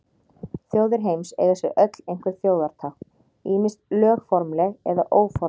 Þjóðir heims eiga sér öll einhver þjóðartákn, ýmist lögformleg eða óformleg.